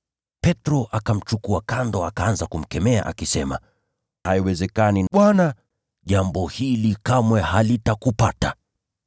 Petro akamchukua kando, akaanza kumkemea akisema, “Haiwezekani, Bwana! Jambo hili kamwe halitakupata!”